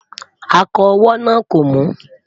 akọ owó nà kò mu